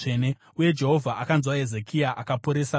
Uye Jehovha akanzwa Hezekia akaporesa vanhu.